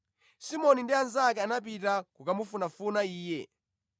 Simoni ndi anzake anapita kokamufunafuna Iye,